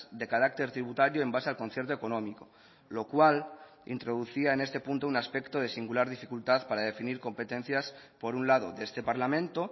de carácter tributario en base al concierto económico lo cual introducía en este punto un aspecto de singular dificultad para definir competencias por un lado de este parlamento